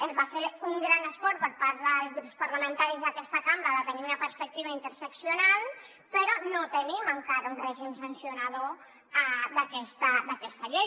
es va fer un gran esforç per part dels grups parlamentaris d’aquesta cambra per tenir una perspectiva interseccional però no tenim encara un règim sancionador d’aquesta llei